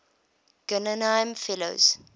guggenheim fellows